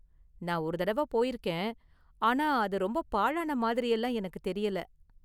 நான் ஒரு தடவ போயிருக்கேன், ஆனா அது ரொம்ப பாழான மாதிரியெல்லாம் எனக்கு தெரியல.